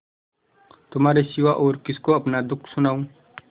तुम्हारे सिवा और किसको अपना दुःख सुनाऊँ